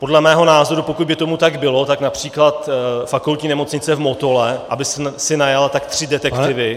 Podle mého názoru, pokud by tomu tak bylo, tak například Fakultní nemocnice v Motole, aby si najala tak tři detektivy -